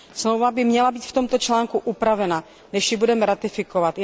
Dohoda by měla být v tomto článku upravena, než ji budeme ratifikovat.